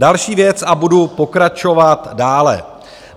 Další věc - a budu pokračovat dále.